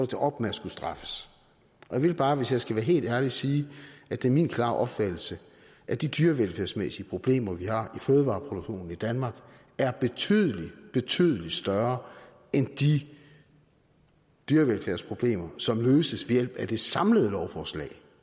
det op med at skulle straffes jeg vil bare hvis jeg skal være helt ærlig sige at det er min klare opfattelse at de dyrevelfærdsmæssige problemer vi har i fødevareproduktionen i danmark er betydelig betydelig større end de dyrevelfærdsproblemer som løses ved hjælp af det samlede lovforslag